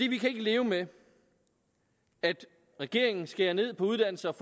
kan ikke leve med at regeringen skærer ned på uddannelse og